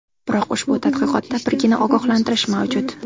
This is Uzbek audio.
Biroq ushbu tadqiqotda birgina ogohlantirish mavjud.